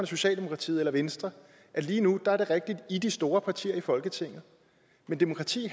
socialdemokratiet eller venstre og lige nu er det rigtigt at i er de store partier i folketinget at demokrati